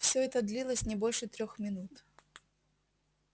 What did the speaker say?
всё это длилось не больше трёх минут